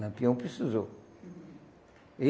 Lampião precisou.